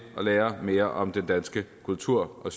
og lære mere om den danske kultur og